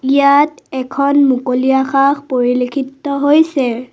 ইয়াত এখন মুকলি আকাশ পৰিলেক্ষিত হৈছে।